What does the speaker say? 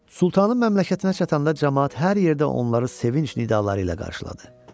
Sultanın məmləkətinə çatanda camaat hər yerdə onları sevinc nidaları ilə qarşıladı.